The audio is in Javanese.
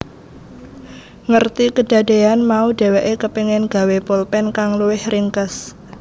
Ngerti kedadeyan mau dheweke kepengin gawé polpen kang luwih ringkes